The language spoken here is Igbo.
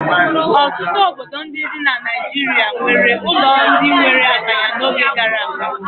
Ọtụtụ obodo ndị dị na Nigeria nwere ụlọ ndị nwere akanya n'oge gara aga.